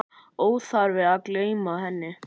Óþarfi að gleyma henni!